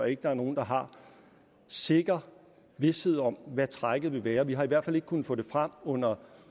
ikke der er nogen der har sikker vished om hvad trækket vil være vi har i hvert fald ikke kunnet få det frem under